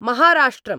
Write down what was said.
महाराष्ट्रम्